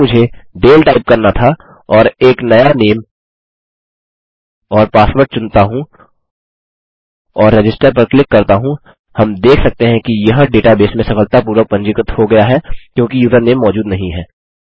यदि मुझे डाले टाइप करना था और एक नया नेम और पासवर्ड चुनता हूँ और रजिस्टर पर क्लिक करता हूँ हम देख सकते हैं कि यह डेटाबेस में सफलतापूर्वक पंजीकृत हो गया है क्योंकि यूज़रनेम मौजूद नहीं है